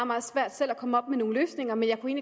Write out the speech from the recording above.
meget svært selv at komme op med nogle løsninger men jeg kunne